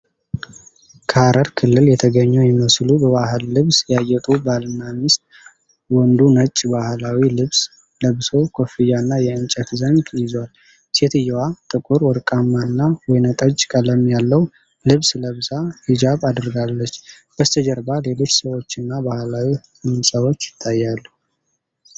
ከሀረር ክልል የተገኙ የሚመስሉ፣ በባህል ልብስ ያጌጡ ባልና ሚስት ። ወንዱ ነጭ ባህላዊ ልብስ ለብሶ፣ ኮፍያና የእንጨት ዘንግ ይዟል። ሴትዮዋ ጥቁር፣ ወርቃማና ወይንጠጅ ቀለም ያለው ልብስ ለብሳ ሂጃብ አድርጋለች። በስተጀርባ ሌሎች ሰዎችና ባህላዊ ሕንፃዎች ይታያሉ።